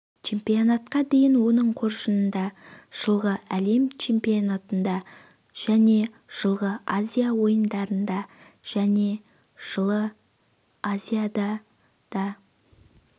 чемпионатқа дейін оның қоржынында жылғы әлем чемпионатында және жылғы азия ойындарында және жылы азиада да